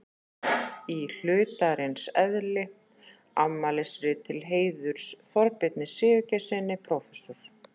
Í hlutarins eðli: Afmælisrit til heiðurs Þorbirni Sigurgeirssyni prófessor.